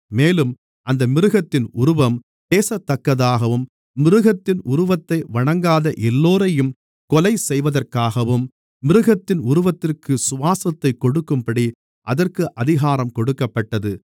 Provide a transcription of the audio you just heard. மேலும் அந்த மிருகத்தின் உருவம் பேசத்தக்கதாகவும் மிருகத்தின் உருவத்தை வணங்காத எல்லோரையும் கொலைசெய்வதற்காகவும் மிருகத்தின் உருவத்திற்கு சுவாசத்தைக் கொடுக்கும்படி அதற்கு அதிகாரம் கொடுக்கப்பட்டது